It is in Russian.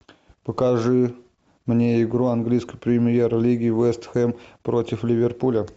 покажи мне игру английской премьер лиги вест хэм против ливерпуля